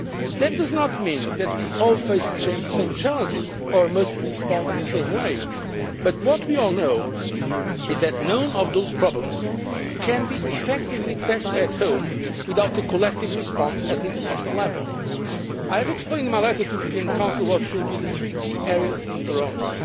That does not mean that we all face the same challenges or must respond in the same way, but what we all know is that none of those problems can be effectively tackled at home without a collective response at international level. I have explained in my letter to the European Council what should be the three key areas in Toronto.